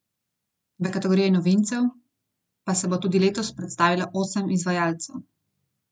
V kategoriji novincev pa se bo tudi letos predstavilo osem izvajalcev.